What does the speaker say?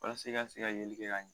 Walasa i ka se ka yeli kɛ ka ɲe.